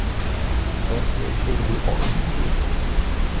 Hvernig urðu orð til?